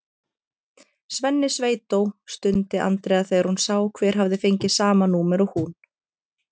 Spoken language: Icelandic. Svenni sveitó! stundi Andrea þegar hún sá hver hafði fengið sama númer og hún.